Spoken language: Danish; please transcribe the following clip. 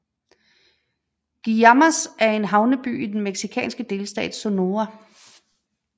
Guaymas er en havneby i den mexikanske delstat Sonora